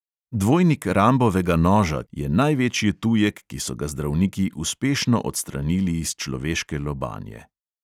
Dvojnik rambovega noža je največji tujek, ki so ga zdravniki uspešno odstranili iz človeške lobanje.